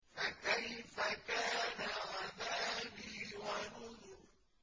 فَكَيْفَ كَانَ عَذَابِي وَنُذُرِ